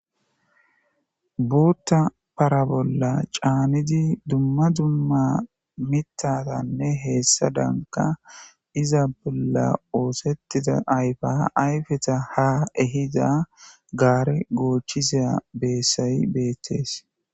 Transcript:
buutta para bolla caanidi dumma dumma mitatanne heessadanka iza bolla oosettida ayfa ayfeta ha ehida gaare goochisa beessay beettees